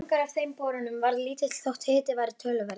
Árangur af þeim borunum varð lítill þótt hiti væri töluverður.